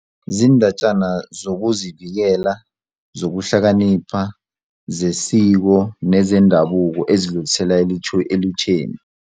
Ziindatjana zokuzivikela, zokuhlakanipha, zesiko nezendabuko ezidlulisela elutjheni.